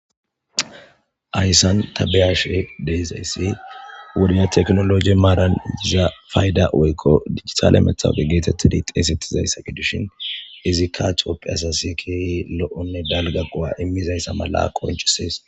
Hayssan ta beyashe de'izayssi wode teknoloji maaran diza fayda woykko dijitale metawoqa geetettidi xeysettizayssa gidishin izikka Toophphiya asasi keehi lo'onne dalga go'a immizayssa mala qoncisees.